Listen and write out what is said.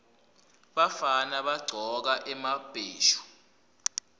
bafana bagcoka emabheshu